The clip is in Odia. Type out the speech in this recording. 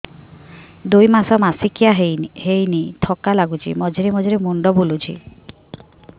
ଦୁଇ ମାସ ମାସିକିଆ ହେଇନି ଥକା ଲାଗୁଚି ମଝିରେ ମଝିରେ ମୁଣ୍ଡ ବୁଲୁଛି